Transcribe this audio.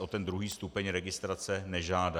o ten druhý stupeň registrace nežádají.